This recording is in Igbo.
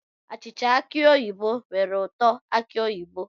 Achịcha aki oyibo nwere ụtọ aki oyibo